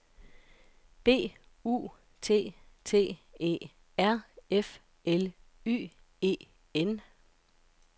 B U T T E R F L Y E N